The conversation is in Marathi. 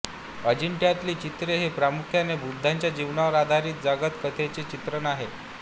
अजिंठ्यातील चित्रे ही प्रामुख्याने बुद्धांच्या जीवनावर आधारित जातक कथांचे चित्रण करतात